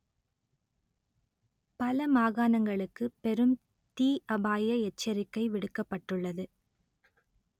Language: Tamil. பல மாகாணங்களுக்கு பெரும் தீ அபாய எச்சரிக்கை விடுக்கப்பட்டுள்ளது